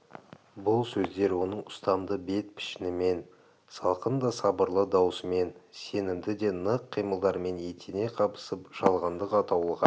бұл сөздер оның ұстамды бет-пішінімен салқын да сабырлы даусымен сенімді де нық қимылдарымен етене қабысып жалғандық атаулыға